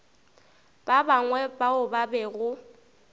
ba bangwe bao ba bego